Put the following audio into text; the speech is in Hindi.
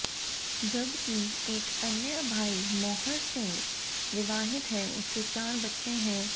जब कि एक अन्य भाई मौहर सिंह विवाहित है उसके चार बच्चे हैं